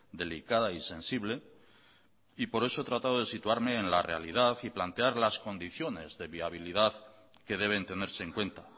delicada y sensible y por eso he tratado de situarme en la realidad y plantear las condiciones de viabilidad que deben tenerse en cuenta